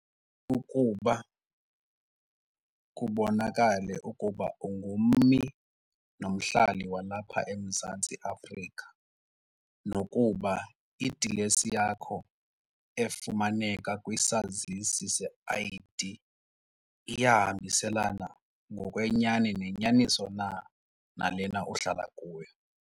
Ukuba kubonakale ukuba ungummi nomhlali walapha eMzantsi Afrika nokuba idilesi yakho efumaneka kwisazisi se-I_D iyahambiselana ngokwenyani nenyaniso na nalena uhlala kuyo.